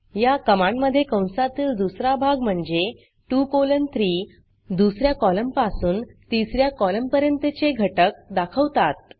या कमांडमधे कंसातील दुसरा भाग म्हणजे 2 कॉलन 3 दुस या कॉलमपासून तिस या कॉलमपर्यंतचे घटक दाखवतात